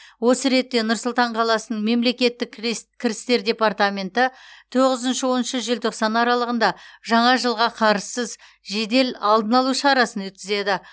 осы ретте нұр сұлтан қаласының мемлекеттік кірістер департаменті тоғызыншы оныншы желтоқсан аралығында жаңа жылға қарызсыз жедел алдын алу шарасын өткізеді